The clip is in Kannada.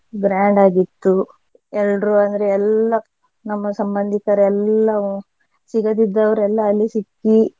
grand ಆಗಿತ್ತು ಎಲ್ರೂ ಅಂದ್ರೆ ಎಲ್ಲಾ ನಮ್ಮ ಸಂಬಂಧಿಕರೆಲ್ಲಾ ಸಿಗದ್ದಿದ್ದವರೆಲ್ಲ ಅಲ್ಲಿ ಸಿಕ್ಕಿ.